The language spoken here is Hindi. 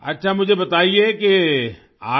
अच्छा मुझे बताइए कि आज